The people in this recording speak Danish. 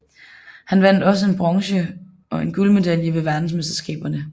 Han vandt også en bronze og en guldmedalje ved Verdensmesterskaberne